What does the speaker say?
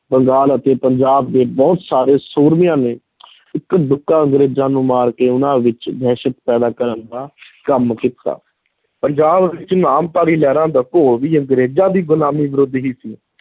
ਬੰਗਾਲ ਅਤੇ ਪੰਜਾਬ ਦੇ ਬਹੁਤ ਸਾਰੇ ਸੂਰਮਿਆਂ ਨੇ ਇੱਕਾ ਦੁੱਕਾ ਅੰਗਰੇਜ਼ਾਂ ਨੂੰ ਮਾਰ ਕੇ ਉਨ੍ਹਾਂ ਵਿਚ ਦਹਿਸ਼ਤ ਪੈਦਾ ਕਰਨ ਦਾ ਕੰਮ ਕੀਤਾ ਪੰਜਾਬ ਵਿਚ ਨਾਮਧਾਰੀ ਲਹਿਰ ਦਾ ਘੋਲ ਵੀ ਅੰਗੇਰਜ਼ਾਂ ਦੀ ਗੁਲਾਮੀ ਵਿਰੁੱਧ ਹੀ ਸੀ ।